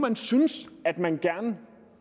syntes at man gerne